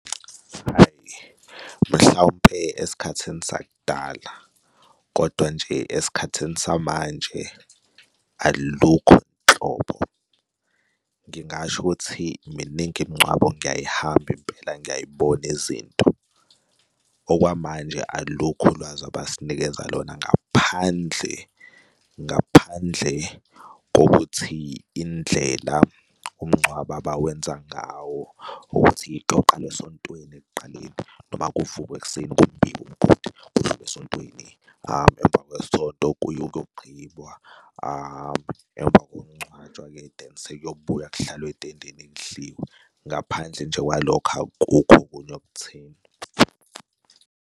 Hhayi, mhlawumpe esikhathini sakudala kodwa nje esikhathini samanje alukho nhlobo. Ngingasho ukuthi miningi imingcwabo ngiyayihamba impela ngiyay'bona izinto. Okwamanje alukho ulwazi abasinikeza lona ngaphandle, ngaphandle kokuthi indlela umngcwabo abawenza ngawo ukuthi iqoqaqane esesontweni kqali noma kuvukwe ekuseni kumbiwe umgodi kudlulwe esontweni. Emva kwesonto kuye kogqibwa emva kokuncwatshwa-ke then sekuyobuywa kuhlalwe ethendeni kudliwe. Ngaphandle nje kwalokho akukho okunye okutheni.